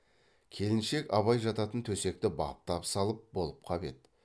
келіншек абай жататын төсекті баптап салып болып қап еді